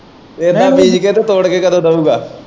ਏਦਾ ਬੀਜ ਕੇ ਤੇ ਤੋੜ ਕੇ ਕਦੋਂ ਦਿਓਗਾ।